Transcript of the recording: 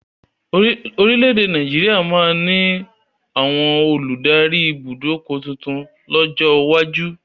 Orílédé Nàìjíríà máa ni àwọn olùdarí ibùdókọ̀ tuntun lọ́jọ́ iwájú